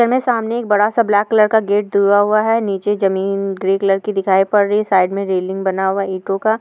इसमे सामने एक बड़ा सा ब्लैक कलर का गेट दुआ हुआ है नीचे जमीन ग्रे कलर की दिखाई पड़ रही है साइड मे रेलिंग बना हुआ है इटो का।